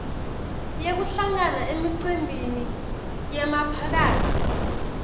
yekuhlangana emicimbini yemphakatsi